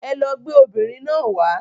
Ẹlọ gbé obìnrin náà wàá.